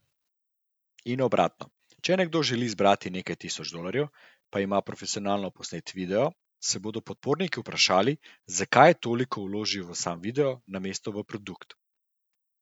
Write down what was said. In obratno, če nekdo želi zbrati nekaj tisoč dolarjev, pa ima profesionalno posnet video, se bodo podporniki vprašali, zakaj je toliko vložil v sam video, namesto v produkt.